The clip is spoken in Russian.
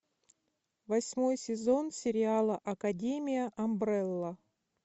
восьмой сезон сериала академия амбрелла